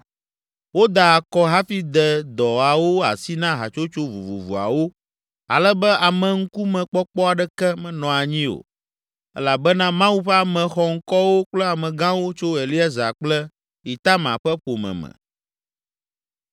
Woda akɔ hafi de dɔawo asi na hatsotso vovovoawo ale be ameŋkumekpɔkpɔ aɖeke menɔ anyi o elabena Mawu ƒe ame xɔŋkɔwo kple amegãwo tso Eleazar kple Itamar ƒe ƒome me.